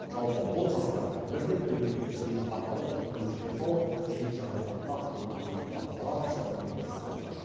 жалпы бұл жастар бірден әлеуметтік желі арқылы демеушілер тауып қиын жағдайға тап болған азаматқа барынша көмектесіп жатыр